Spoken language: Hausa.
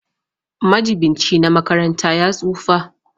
Majibinci na makaranta ya tsufa.